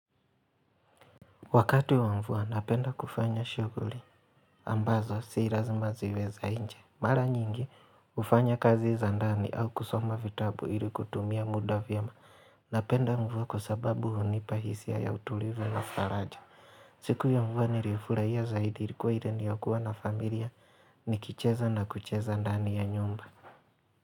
Wakati wa mvua napenda kufanya shughuli ambazo si lazima ziwe za nje Mara nyingi hufanya kazi za ndani au kusoma vitabu ili kutumia muda vyema Napenda mvua kwa sababu hunipa hisia ya utulivu na faraja siku ya mvua nilifurahia zaidi ilikuwa ile ni ya kuwa na familia nikicheza na kucheza ndani ya nyumba.